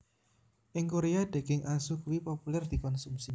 Ing Koréa daging asu iku populèr dikonsumsi